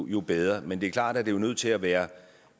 jo bedre men det er klart at det er nødt til at være en